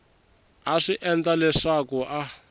a swi endla leswaku a